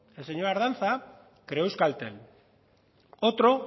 el señor ardanza creó euskaltel otro